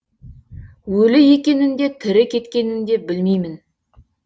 өлі екенін де тірі кеткенін де білмеймін